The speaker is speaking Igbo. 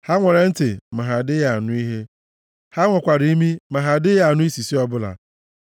ha nwere ntị ma ha adịghị anụ ihe, ha nwekwara imi ma ha adịghị anụ isisi ọbụla;